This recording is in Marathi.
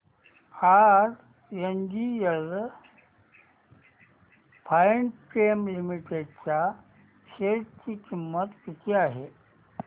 आज एनजीएल फाइनकेम लिमिटेड च्या शेअर ची किंमत किती आहे